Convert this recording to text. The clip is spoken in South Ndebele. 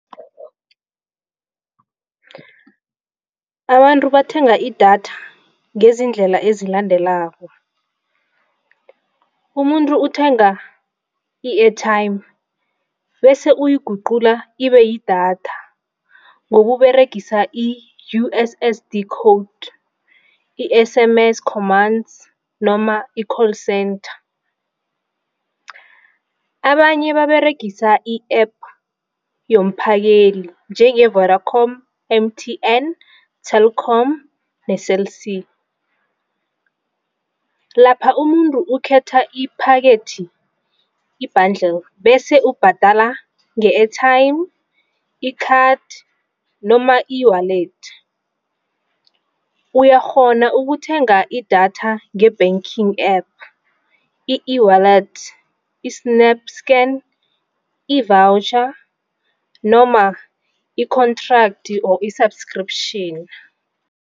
Abantu bathenga idatha ngezindlela ezilandelako, umuntu uthenga i-airtime bese uyayiguqula ibeyidatha ngokuberegisa i-U_ S_ S_ D code i-S_M_S commands noma i-call centre. Abanye baberegisa i-App yomphakeli njenge-Vodacom, M_T_N, Telkom ne-Cell C. Lapha umuntu ukhetha iphakethi i-bundle bese ubhadala nge-airtime, i-card noma i-eWallet. Uyakghona ukuthenga idatha nge-Banking App, i-eWallet, i-SnapScan i-voucher noma i-contract noma i-subscription.